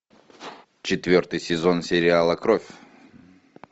четвертый сезон сериала кровь